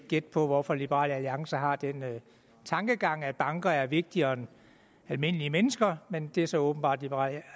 gætte på hvorfor liberal alliance har den tankegang at banker er vigtigere end almindelige mennesker men det er så åbenbart liberal